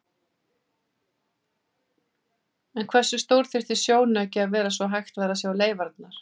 En hversu stór þyrfti sjónauki að vera svo hægt væri að sjá leifarnar?